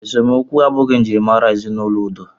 Esemokwu abụghị njirimara ezinaụlọ udo.